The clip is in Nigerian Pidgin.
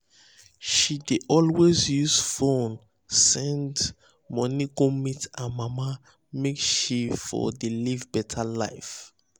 she dey always use fone send fone send money go meet her mama make she for de live beta life